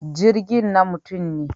Jirgin na mutum ne.